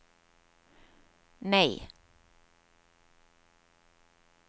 nei